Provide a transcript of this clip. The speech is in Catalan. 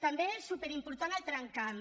també superimportant el tramcamp